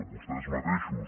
vostès mateixos